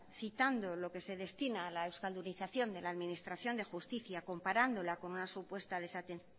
citando lo que se destina a la euskaldunización de la administración de justicia comparándola con una supuesta